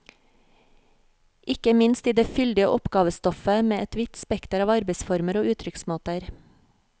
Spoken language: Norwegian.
Ikke minst i det fyldige oppgavestoffet med et vidt spekter av arbeidsformer og uttrykksmåter.